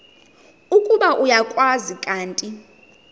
ukuba uyakwazi kanti